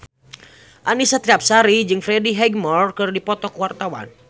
Annisa Trihapsari jeung Freddie Highmore keur dipoto ku wartawan